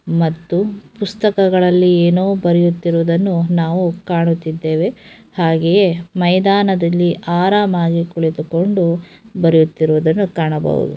ಮತ್ತು ಪುಸ್ತಕಗಳಲ್ಲಿ ಏನೋ ಬರೆಯುತ್ತಿರುವುದನ್ನು ನಾವು ಕಾಣುತ್ತಿದ್ದೇವೆ ಹಾಗೆಯೇ ಮೈದಾನದಲ್ಲಿ ಆರಾಮಾಗಿ ಕುಳಿತುಕೊಂಡು ಬರೆಯುತ್ತಿರುವುದನ್ನು ಕಾಣಬಹುದು.